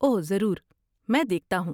اوہ، ضرور، میں دیکھتا ہوں۔